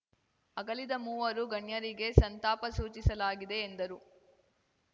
ಅಗಲಿದ ಮೂವರು ಗಣ್ಯರಿಗೆ ಸಂತಾಪ ಸೂಚಿಸಲಾಗಿದೆ ಎಂದರು